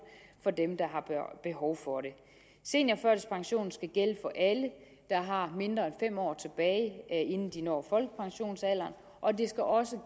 for dem der har behov for det seniorførtidspensionen skal gælde for alle der har mindre end fem år tilbage inden de når folkepensionsalderen og den skal også